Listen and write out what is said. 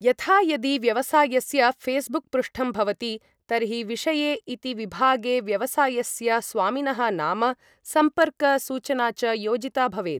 यथा, यदि व्यवसायस्य फे़स्बुक् पृष्ठं भवति तर्हि विषये इति विभागे व्यवसायस्य स्वामिनः नाम, सम्पर्क सूचना च योजिता भवेत्।